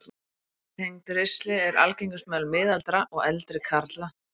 Garnaflækja tengd ristli er algengust meðal miðaldra og eldri karla.